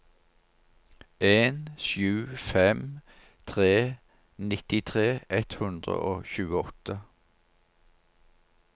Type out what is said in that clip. en sju fem tre nittitre ett hundre og tjueåtte